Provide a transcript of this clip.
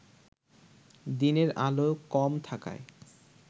দিনের আলো কম থাকায়